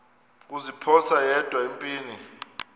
kuziphosa yedwa empini